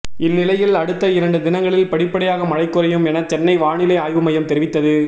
இந்நிலையில் அடுத்த இரண்டு தினங்களில் படிபடியாக மழை குறையும் என சென்னை வானிலை ஆய்வு மையம் தெரிவித்தது